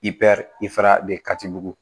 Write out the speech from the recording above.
I ifa de katibugu